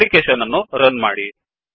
application ಅನ್ನು runರನ್ ಮಾಡಿ